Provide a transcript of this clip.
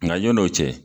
Nka yan'o cɛ